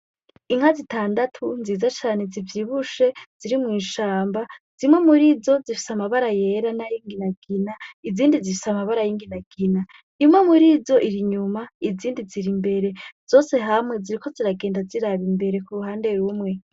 Inka zitandatu nziza cane zivyibushe, ziri mw'ishamba. Zimwe murizo, zifise amabara yera n'ay'inginagina, izindi zifise ay'inginagina. Imwe murizo, ir'inyuma, izindi ziri imbere. Ziriko ziragenda ziraba imbere kuruhande rumwe.